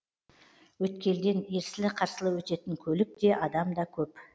өткелден ерсілі қарсылы өтетін көлік те адам да көп